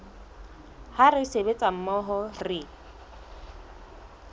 ha re sebetsa mmoho re